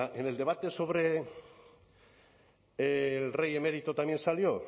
que en el debate sobre el rey emérito también salió